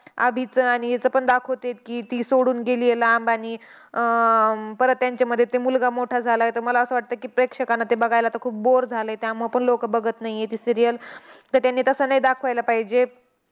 अभिचं आणि हिचं पण दाखवतायत की, ती सोडून गेलीय लांब. आणि अह अं परत त्यांच्यामध्ये ते मुलगा मोठा झालाय. तर मला असं वाटतंय की, प्रेक्षकांना ते बघायला आता ते खूप bore झालंय. त्यामुळं पण लोकं बघत नाही ती serial. तर त्यांनी तसं नाही दाखवायला पाहिजे.